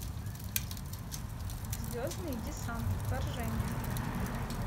звездный десант вторжение